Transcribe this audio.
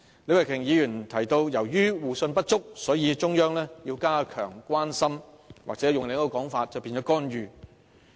李慧琼議員提到，由於互信不足，所以中央要加強關心，或換另一種說法，便是干預。